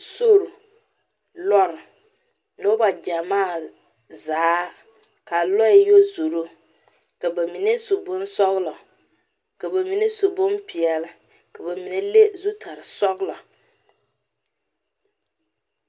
sori, lɔɛ noba gyamaa zaa kaa lɔɛ zoro ka ba mine su bonsɔglɔ ka ba mine su bonpɛɛle ka ba mine leŋe zutarre sɔglɔ